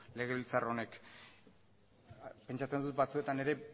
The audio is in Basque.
legebiltzar honek pentsatzen dut batzutan ere